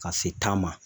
Ka se tan ma